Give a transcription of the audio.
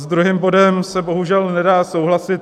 S druhým bodem se bohužel nedá souhlasit.